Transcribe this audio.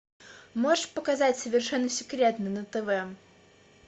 можешь показать совершенно секретно на тв